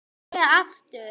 Fæ ég aftur?